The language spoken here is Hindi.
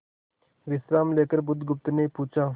विश्राम लेकर बुधगुप्त ने पूछा